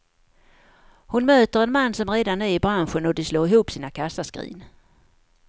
Hon möter en man som redan är i branschen och de slår ihop sina kassaskrin.